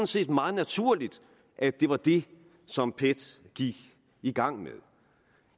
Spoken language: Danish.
set meget naturligt at det var det som pet gik i gang med